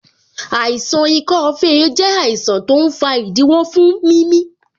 Àìsàn ikọ́ fèé jẹ àìsàn tó ń fa ìdíwọ́ fún mimi